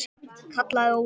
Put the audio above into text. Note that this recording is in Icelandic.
kallaði Ólafur.